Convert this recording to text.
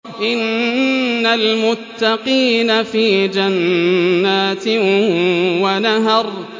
إِنَّ الْمُتَّقِينَ فِي جَنَّاتٍ وَنَهَرٍ